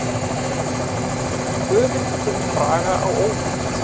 Töfin kemur Braga á óvart.